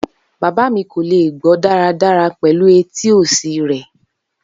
Baba mi ko le gbọ daradara pẹlu eti osi rẹ.